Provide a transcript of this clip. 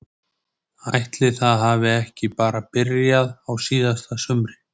Ætli það hafi ekki bara byrjað á síðasta sumri?